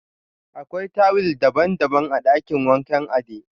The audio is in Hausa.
Akwai tuwil daban-daban a dakin wankan Ade.